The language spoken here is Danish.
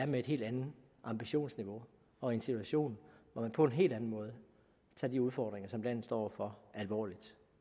med et helt andet ambitionsniveau og en situation hvor man på en helt anden måde tager de udfordringer som landet står over for alvorligt